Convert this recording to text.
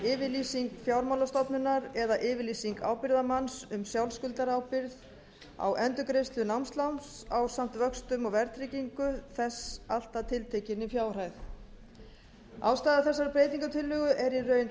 ábyrgðaryfirlýsing fjármálastofnunar eða yfirlýsing fjármálamanns um sjálfskuldarábyrgð á endurgreiðslu námsláns ásamt vöxtum og verðtryggingu þess allt að tiltekinni fjárhæð ástæða þessarar breytingartillögu er í raun